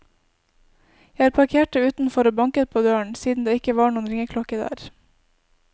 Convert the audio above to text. Jeg parkerte utenfor og banket på døren, siden det ikke var noen ringeklokke der.